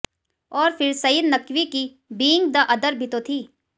और फिर सईद नकवी की बीइंग द अदर भी तो थी